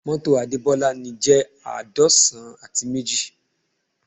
Mọ́tò ti Adebola ni jẹ́ àádọ́san àti méjì